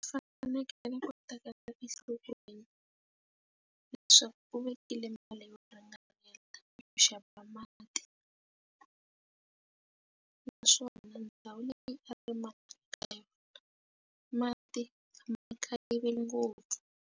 Fanekele ku tekela enhlokweni leswaku u vekile mali yo ringanela ku xava mati naswona ndhawu leyi va rimaka ka yona mati mhaka yive ngopfu.